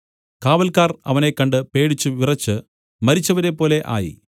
കാവൽക്കാർ അവനെ കണ്ട് പേടിച്ചു വിറച്ച് മരിച്ചവരെപോലെ ആയി